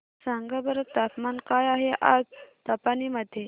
सांगा बरं तापमान काय आहे आज निपाणी मध्ये